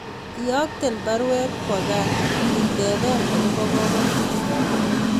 Iyokten baruet kwo kaa itebee agobo kogotiet